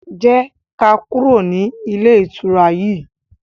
jé ká kúrò ní Ilé-ìtura yí.